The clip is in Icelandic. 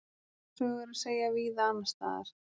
aðra sögu er að segja víða annars staðar